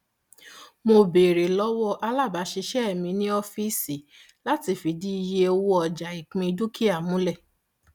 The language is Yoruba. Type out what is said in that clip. mo béèrè lọwọ alábàáṣiṣẹ mi ní ọfíìsì láti fìdí iye owó ọjà ìpín dúkìá múlẹ